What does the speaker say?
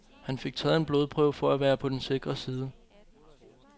Han fik taget en blodprøve for at være på den sikre side.